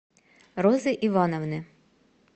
розы ивановны